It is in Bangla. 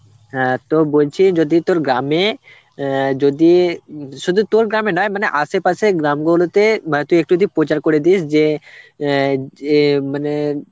হ্যাঁ তো বলছি যদি তোর গ্রামে অ্যাঁ যদি উম শুধু তোর গ্রামে নয় আশেপাশে গ্রামগুলোতে বা তুই একটু যদি প্রচার করে দিস যে অ্যাঁ যে মানে